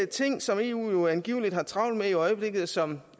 ting som eu angiveligt har travlt med i øjeblikket og som